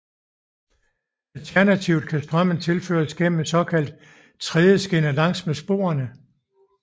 Alternativt kan strømmen tilføres gennem en såkaldt tredjeskinne langs med sporene